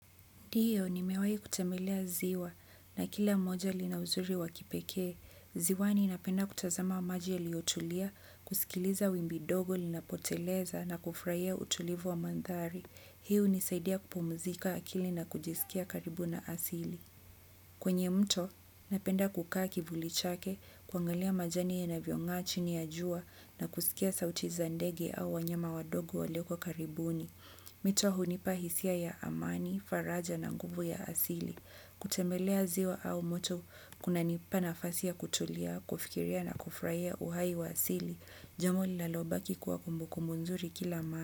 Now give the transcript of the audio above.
Ndiyo, nimewahi kutembelea ziwa na kila moja lina uzuri wa kipekee. Ziwani napenda kutazama maji yaliyotulia, kusikiliza wimbi dogo linapoteleza na kufurahia utulivu wa mandhari. Hii hunisaidia kupumzika akili na kujisikia karibu na asili. Kwenye mto, napenda kukaa kivuli chake, kuangalia majani yanavyongaa chini ya jua na kusikia sauti za ndege au wanyama wadogo walioko karibuni. Mito hunipa hisia ya amani, faraja na nguvu ya asili. Kutembelea ziwa au mto kunanipa nafasi ya kutulia, kufikiria na kufurahia uhai wa asili. Jambo linalobaki kuwa kumbukumbu nzuri kila mara.